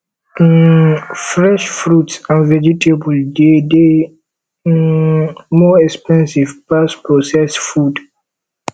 um fresh fruits and vegetables dey de um more expensive pass processed food